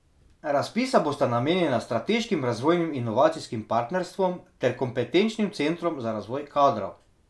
Razpisa bosta namenjena strateškim razvojnim inovacijskim partnerstvom ter kompetenčnim centrom za razvoj kadrov.